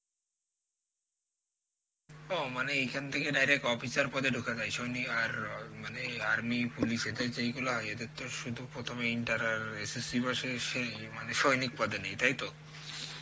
ও মানে এইখান থেকে direct officer পদে ঢোকা যায় সৈনি~ আর মানে army, police এদের যেইগুলো এদের তো সুধু প্রথমেই inter আর SSC বসে সেই মানে সৈনিক পদে নেই তাইত?